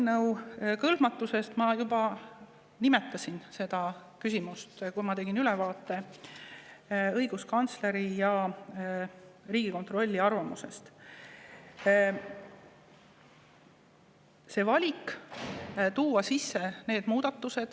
Nüüd, kõnealuse eelnõu puhul ma juba nimetasin seda teemat, kui ma tegin ülevaate õiguskantsleri ja Riigikontrolli arvamusest.